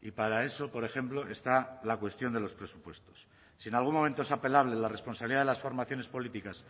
y para eso por ejemplo está la cuestión de los presupuestos si en algún momento es apelable la responsabilidad de las formaciones políticas